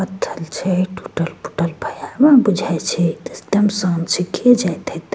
पत्थर छै टूटल-फुटल भयानक बुझाय छै एकदम शांत छै केए जाइत एते।